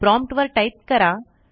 prompt वर type करा